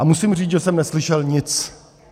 A musím říct, že jsem neslyšel nic.